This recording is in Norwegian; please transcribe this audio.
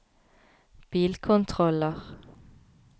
bilkontroller